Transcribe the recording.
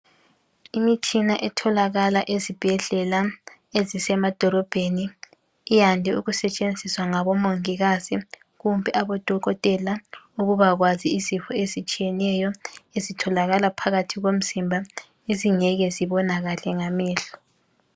Imitshina etholakala ezibhedlela ezisemadolobheni iyande ukusetshenziswa ngabo mongikazi kumbe abodokotela ukuba kwazi izifo ezitshiyeneyo ezitholakala phakathi komzimba ezingeke zibonakale ngamehlo.